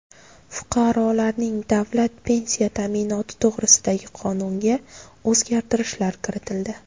Fuqarolarning davlat pensiya ta’minoti to‘g‘risidagi qonunga o‘zgartirishlar kiritildi.